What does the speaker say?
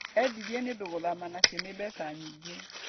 Endirie nĩũndũ gũthama nacio nĩ mbeca nyingĩ